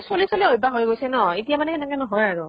চলি চলি অভ্য়াস হৈ গৈছে ন ? এতিয়া মানে সেনেকে নহয় আৰু ।